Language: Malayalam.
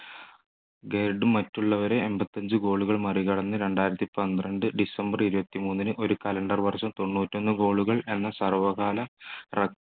ഗെർഡ് മറ്റുള്ളവരെ എൺപത്തിയഞ്ചു goal കൾ മറികടന്ന് രണ്ടായിരത്തി പന്ത്രണ്ട് ഡിസംബർ ഇരുപത്തിമൂന്നിന് ഒരു calendar വർഷം തൊണ്ണൂറ്റിയൊന്നു gaol കൾ എന്ന സർവ്വകാല റെ